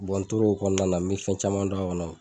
n tor'o kɔnɔna na, me fɛn caman don a kɔnɔ